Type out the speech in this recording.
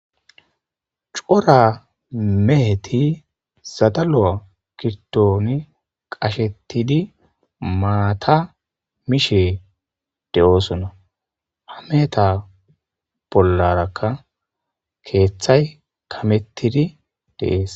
Cora meheti zadalo'a kirtooni qashettidi maata mishe de'oosonna ha meeta bollarakka keeththay kamettidi deees.